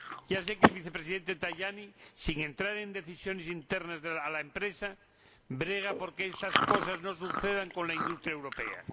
Ya sé que el Vicepresidente Tajani, sin entrar en decisiones internas de la empresa, brega por que estas cosas no sucedan con la industria europea.